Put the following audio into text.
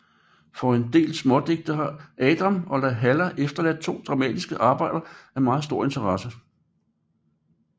Foruden en del smådigte har Adam de la Halle efterladt to dramatiske arbejder af meget stor interesse